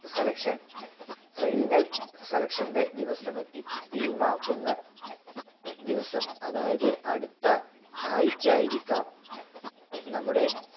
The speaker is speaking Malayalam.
selection final selection ൻ്റെ ദിവസമെത്തി. team ആക്കുന്ന ദിവസം. അതായത് അടുത്ത ആഴ്ച ആയിരിക്കാം നമ്മുടെ